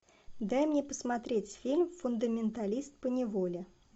дай мне посмотреть фильм фундаменталист поневоле